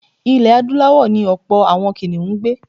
Ilẹ̀ Adúláwọ̀ ni ọ̀pọ̀ àwọn kìnìhún ń gbé.